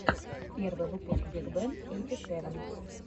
первый выпуск биг бен эйти сэвэн